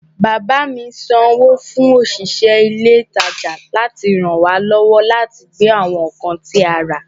Bàbá mi sanwó fún òṣìṣẹ́ ilé ìtajà láti ràn wá lọ́wọ́ láti gbé àwọn nǹkan tí a rà